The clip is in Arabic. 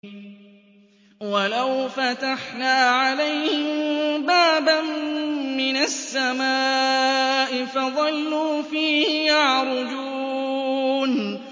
وَلَوْ فَتَحْنَا عَلَيْهِم بَابًا مِّنَ السَّمَاءِ فَظَلُّوا فِيهِ يَعْرُجُونَ